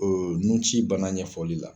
Nunci bana ɲɛfɔli la.